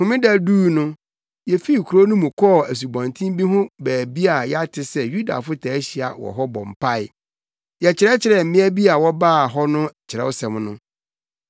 Homeda duu no, yefii kurow no mu kɔɔ asubɔnten bi ho baabi a yɛate sɛ Yudafo taa hyia wɔ hɔ bɔ mpae. Yɛkyerɛkyerɛɛ mmea bi a wɔbaa hɔ no Kyerɛwsɛm no.